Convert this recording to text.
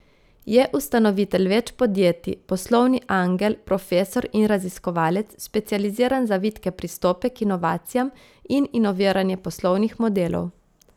Je ustanovitelj več podjetij, poslovni angel, profesor in raziskovalec, specializiran za vitke pristope k inovacijam in inoviranje poslovnih modelov.